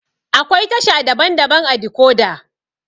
Akwai tasha daban-daban ã decoda.